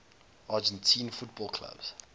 argentine football clubs